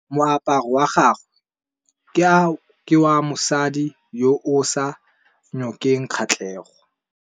Moaparô wa gagwe ke wa mosadi yo o sa ngôkeng kgatlhegô.